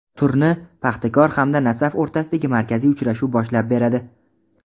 Turni "Paxtakor" hamda "Nasaf" o‘rtasidagi markaziy uchrashuv boshlab beradi.